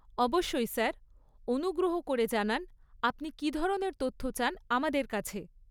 অবশ্যই স্যার! অনুগ্রহ করে জানান আপনি কী ধরনের তথ্য চান আমাদের কাছে?